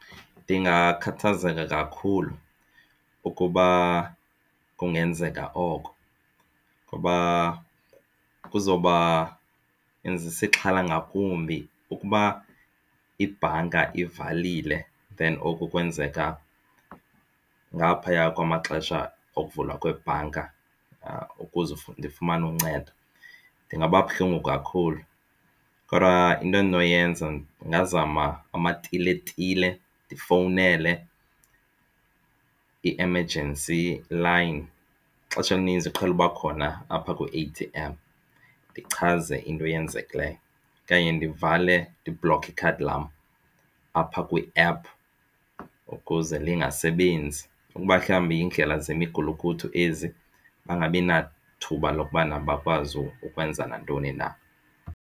Ndingakhathazeka kakhulu ukuba kungenzeka oko ngoba kuzawuba inzisa ixhala ngakumbi ukuba ibhanka ivalile then oku kwenzeka ngaphaya kwamaxesha okuvula kwebhanka ukuze ndifumane uncedo. Ndingaba buhlungu kakhulu kodwa into endinoyenza ndingazama amatiletile ndifowunele i-emergency line ixesha elininzi iqhele uba khona apha kwi-A_T_M ndichaze into eyenzekileyo okanye ndivale ndibloke ikhadi lam apha kwiephu ukuze lingasebenzi ukuba mhlawumbi yindlela zemigulukudu ezi bangabi nathuba lokubana bakwazi ukwenza nantoni na.